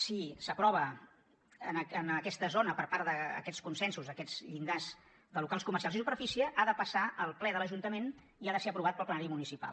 si s’aprova en aquesta zona per part d’aquests consensos aquests llindars de locals comercials i superfície ha de passar al ple de l’ajuntament i ha de ser aprovat pel plenari municipal